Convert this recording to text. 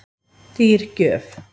Dýr gjöf